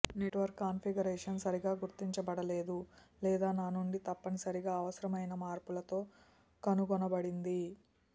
network configuration సరిగా గుర్తించబడలేదు లేదా నా నుండి తప్పనిసరిగా అవసరమైన మార్పులతో కనుగొనబడింది